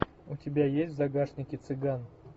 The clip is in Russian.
у тебя есть в загашнике цыган